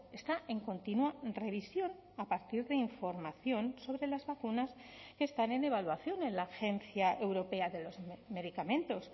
está en continua revisión a partir de información sobre las vacunas que están en evaluación en la agencia europea de los medicamentos